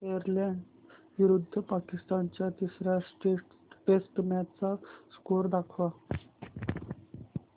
Ireland विरुद्ध पाकिस्तान च्या तिसर्या टेस्ट मॅच चा स्कोअर दाखवा